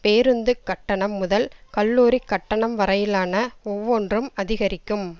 பேருந்துக் கட்டணம் முதல் கல்லூரிக் கட்டணம் வரையிலான ஒவ்வொன்றும் அதிகரிக்கும்